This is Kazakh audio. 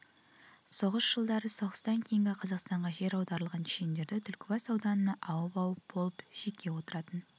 соғыс жылдары соғыстан кейін қазақстанға жер аударылған чешендері түлкібас ауданына ауып-ауып болып жеке отыратын